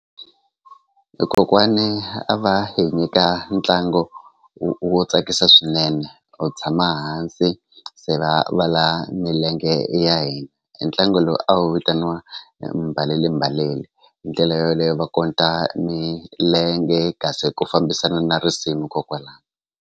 E kokwani a va hi nyika ntlangu wo tsakisa swinene u tshama hansi se va va la milenge ya hina e ntlangu lowu a wu vitaniwa mbalelembalele hi ndlela yoleyo va konta milenge kasi ku fambisana na risimu kokwala.